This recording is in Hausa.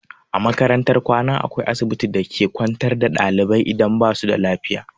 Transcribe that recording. A makarantar kwana akwai asibiti da a ke kwantar da ɗalibai idan basu da lafiya.